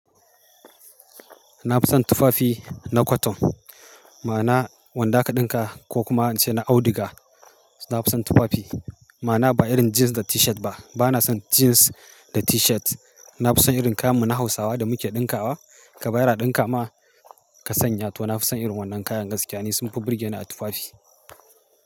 Na fi son tufafi na cotton. Ma'ana wanda aka dinka ko kuma in ce na audiga. Na fi son tufafi. Ma na ba irin jeans da t-shirt ba. Ba na son jeans da t-shirt. Na fi son irin kayan mu na Hausawa da muke dinka wa. Ka bayar ɗinka ma ka sanya to na fi son irin wannan kayan gaskiya ni sunfi burge ni a tufafi.